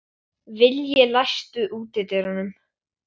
Veit að þannig eyk ég þekkingu mína.